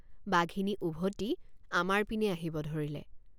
বাঘিনী উভতি আমাৰ পিনে আহিব ধৰিলে।